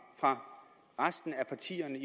fra resten af partiernes